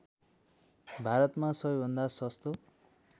भारतमा सबैभन्दा सस्तो